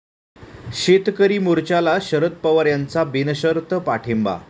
शेतकरी मोर्चाला शरद पवार यांचा बिनशर्त पाठिंबा